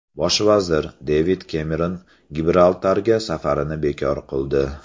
Bosh vazir Devid Kemeron Gibraltarga safarini bekor qildi.